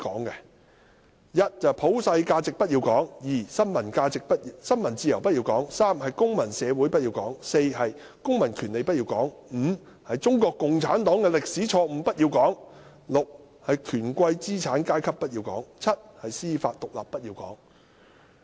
第一，普世價值不要講；第二，新聞自由不要講；第三，公民社會不要講；第四，公民權利不要講；第五，中國共產黨的歷史錯誤不要講；第六，權貴資產階級不要講；及第七，司法獨立不要講。